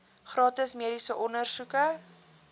gratis mediese ondersoeke